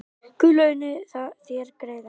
Guð launi þér greiðann